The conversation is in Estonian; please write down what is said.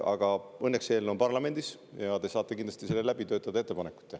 Aga õnneks on eelnõu parlamendis, te saate kindlasti selle läbi töötada ja oma ettepanekuid teha.